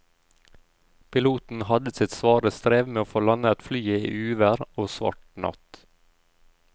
Piloten hadde sitt svare strev med å få landet flyet i uvær og svart natt.